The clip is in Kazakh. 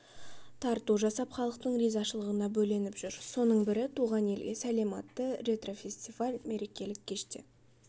тарту жасап халықтың ризашылығына бөленіп жүр соның бірі туған елге сәлем атты ретро-фестиваль мерекелік кеште